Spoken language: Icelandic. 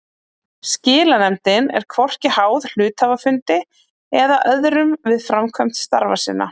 Skilanefndin er hvorki háð hluthafafundi eða öðrum við framkvæmd starfa sinna.